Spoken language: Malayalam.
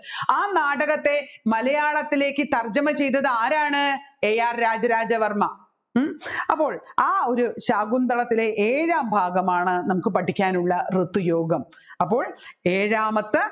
ആ നാടകത്തെ മലയാളത്തിലേക്ക് തർജുമ ചെയ്തത് ആരാണ് AR രാജരാജവർമ്മ ഹും അപ്പോൾ ആ ഒരു ശാകുന്തളത്തിലെ ഏഴാം ഭാഗമാണ് നമ്മുക്ക് പഠിക്കാനുള്ള ഋതുയോഗം